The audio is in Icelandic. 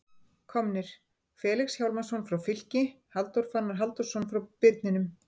Komnir: Felix Hjálmarsson frá Fylki Halldór Fannar Halldórsson frá Birninum